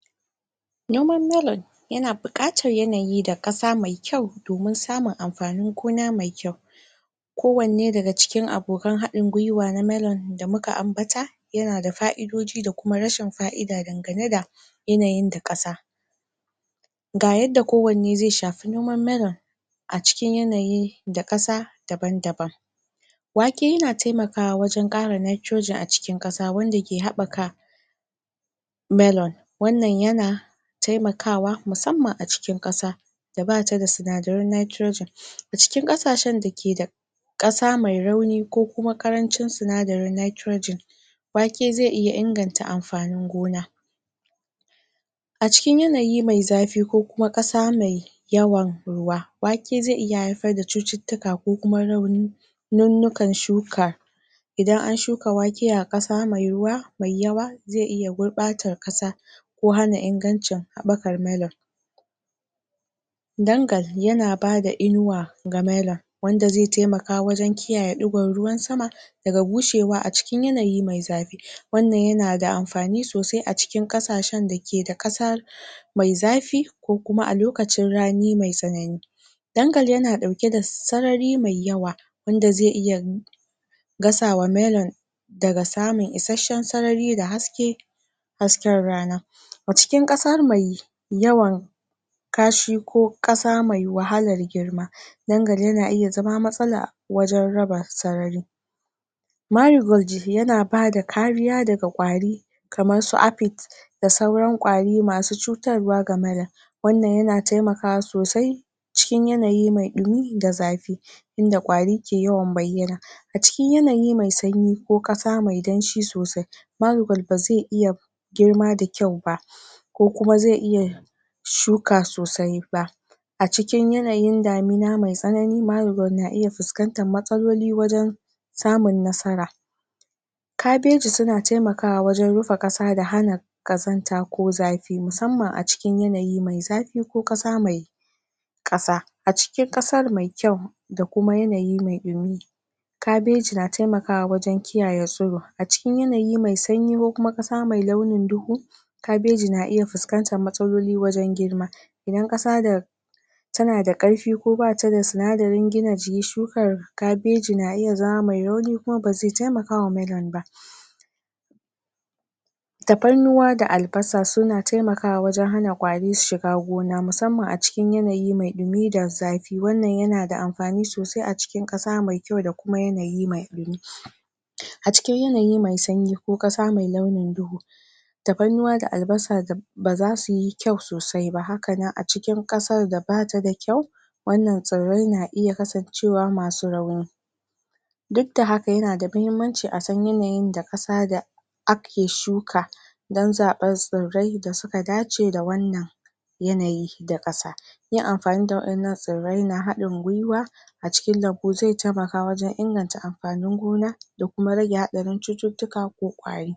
Noman melon yana buƙatar yanayi da ƙasa mai kyau domin samun amfanin gona mai kyau. ko wanne daga cikin abokan haɗin gwiwa na melon da muka ambata yana da fa'idoji da kuma rashin fa'ida dangane da yanayin da ƙasa ga yadda ko wanne zai shafi noman melon a cikin yanayi da ƙasa daban-daban. wake yana taimakawa wajen ƙara nitrogen a cikin ƙasa wanda ke haɓɓaka melon wannan yana taimakawa musamman a cikin ƙasa da bata da sinadaran nitrogen a cikin ƙasashen dake da ƙasa mai rauni ko kuma ƙarancin sinadarin nitrogen wake zai iya inganta mafanin gona. A cikin yanayi mai zafi ko kuma ƙasa mai yawan ruwa, wake zai iya haifar da cututtuka ko kuma rauni nunnukan shuka idan an shuka wake a ƙasa mai ruwa, mai yawa zai iya gurɓatar ƙasa ko hana ingancin haɓɓakar melon. dangal yana bada inuwa ga melon wanda zai taimaka wajen kiyaye ɗigon ruwan sama daga bushewa a cikin yanayi mai zafi. Wannan yana da amfani sosai a cikin ƙasashen dake da ƙasa mai zafi ko kuma a lokacin rani mai tsanani. Dangal yana ɗauke da sarari mai yawa wanda zai iya gasawa melon daga samun isasshen sarari da haske hasken rana. A cikin ƙasa mai yawan kashi ko ƙasa mai wahalar girma dangal yana iya zama matsala wajen raba sarari. maigoji yana bada kariya daga ƙwari kamar su apit da sauran ƙwari masu cutarwa ga melon. Wannan yana taimakawa sosai cikin yanayi mai ɗumi da zafi. Inda ƙwari ke yawan baiyana. A cikin yanayi mai sanyi ko ƙasa mai danshi sosai bazai iya girma da kyau ba. Ko kuma zai iya shuka sosai ba a cikin yanayin damina mai tsanani mailon na iya fuskantar matsaloli wajen samun nasara. kabeji suna taimakawa wajen rufe ƙasa da hana ƙazanta ko zafi musamman a cikin yanayi mai zafi ko ƙasa mai ƙasa a cikin ƙasar mai kyau da kuma yanayi mai ɗumi. kabeji na taimakawa wajen kiyaye tsiro a cikin yanayi mai sanyi ko kuma ƙasa mai launin duhu kabeji na iya fuskantar matsaloli wajen girma. idan ƙasa da tana da ƙarfi koata da sinadarin gina jikin shukar kabeji na iya zama mai rauni kuma bazai taimakawa melon ba. tafarnuwa da albasa suna taimakawa wajen hana ƙwari shiga gona musamman a ci kin yanayi mai ɗumi da zafi wannan yana da amfani sosai a cikin ƙasa mai kyau da kuma yanayi mai ɗumi. A cikin yanayi mai sanyi ko ƙasa mai launin duhu tafarnuwa da albasa bazasuyi kyau sosai ba hakanan a cikin ƙasar da bata da kyau wannan tsirrai na iya kasancewa masu rauni. Dukda haka yana da muhimmanci a san yanayin da ƙasa da ake shuka dan zaɓen tsirrai da suka dace da wannan yanayi da ƙasa. Yin amfani da wa'innan tsirrai na haɗin gwiwa a cikin lambu zai taimaka wajen inganta amfanin gona da kuma rage haɗarin cututtuka ko ƙwari.